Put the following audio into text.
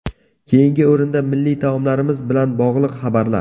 Keyingi o‘rinda milliy taomlarimiz bilan bog‘liq xabarlar .